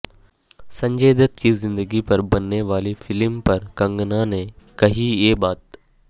سنجے دت کی زندگی پر بننے والی فلم پر کنگنا نے کہی یہ بات